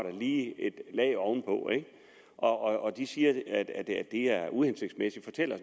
et lag oven på og de siger at det er uhensigtsmæssigt og